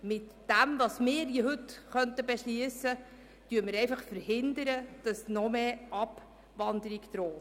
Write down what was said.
Mit dem entsprechenden Beschluss könnten wir heute verhindern, dass eine noch grössere Abwanderung droht.